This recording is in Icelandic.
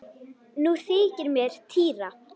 Nú þykir mér týra!